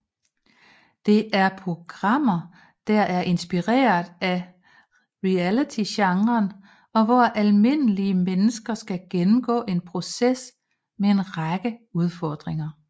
Det er programmer der er inspireret af realitygenren og hvor almindelige mennesker skal gennemgå en proces med en række udfordringer